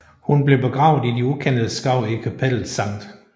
Hun blev begravet i de ukendtes grav i kapellet St